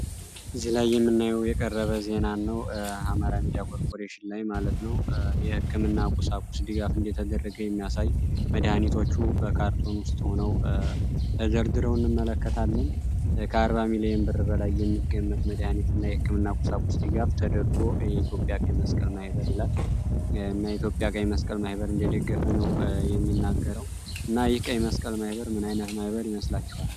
እዚህ ላይ የምናየው የተቀረበ ዜና ነው የአማራ ሚድያ ኮርፖሬሽን ማለት ነው የህክምና ቁሳቁስ ድጋፍ የዘመለከተ የሚያሳይ መድኃኒቶች በካርቶን ውስጥ ሆኖ ሆነው ተደርድረው እንመለከታለን ከአንድ ሚሊዮን ብር በላይ የሚገመት ቁሳቁስ የኢትዮጵያ ቀይመስቀል ማህበር እንደደገፈ ነው የሚናገረው እና ይህ ቀይ መስቀል ምን አይነት ማህበር ይመስላቸዋል?